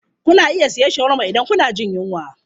Kuna iya siyan shawarma idan kuna jin yunwa.